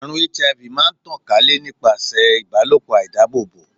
Àrùn HIV máa ń tàn ká lè nípasẹ̀ ìbálòpọ̀ àìdábòbò.